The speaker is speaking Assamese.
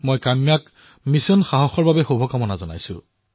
মই কাম্যাক এই মিছন সাহসৰ বাবে শুভকামনা জনাইছো